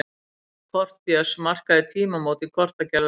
Kort Björns markaði tímamót í kortagerð á Íslandi.